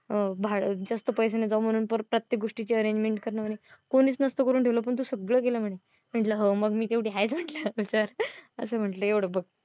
भाडं जास्त पैसे न जाऊ म्हणून प्रत्येक गोष्टीची arrengment करणं म्हणे. कोणीच नसतं करून ठेवलं पण तू सगळं केलं म्हणे. मी म्हंटल हो मग मी तेवढी हायेच म्हणलं असं म्हंटल एवढं बघ.